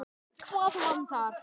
Hvað vantar?